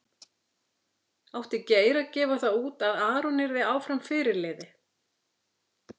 Átti Geir að gefa það út að Aron yrði áfram fyrirliði?